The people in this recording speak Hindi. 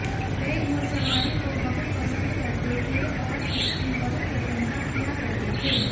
वे घुड़सवारी को बहुत पसंद करते थे और इसकी बहुत प्रशंसा किया करते थे